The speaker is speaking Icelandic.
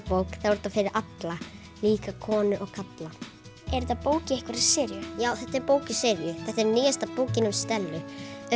þá er þetta fyrir alla líka konur og kalla er þetta bók í einhverri seríu já þetta er bók í seríu þetta er nýjasta bókin um Stellu